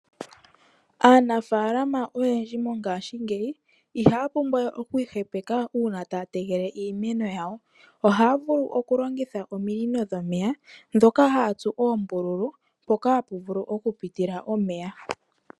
Aanafaalama oyendji mongashingeyi ihaya pumbwa we okwiihepeka uuna taya tekele iimeno yawo. Ohaa vulu okulongitha ominino dhomeya ndhoka haya tsu oombululu mpoka hapu vulu okupitila omeya.